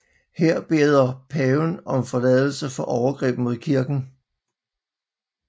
Her beder han paven om forladelse for overgreb mod kirken